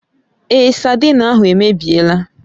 Èé, saidin ahụ èmèbịèlà